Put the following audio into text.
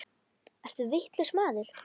Ertu vitlaus maður?